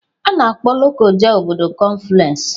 A na-akpọ Lokoja obodo kọnfluensị.